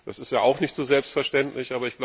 Das ist ja auch nicht selbstverständlich.